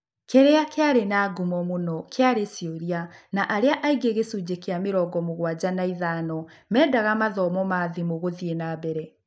Kĩrĩa kĩarĩ na ngumo mũno kĩarĩ cioria, na arĩa aingĩ gĩcunjĩ kĩa mĩrongo-mũgwanja na ithano mendaga mathomo ma thimũ gũthiĩ nambere.